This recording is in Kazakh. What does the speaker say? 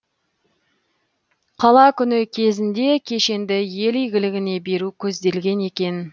қала күні кезінде кешенді ел игілігіне беру көзделген екен